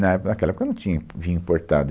Na, naquela época não tinha vinho importado.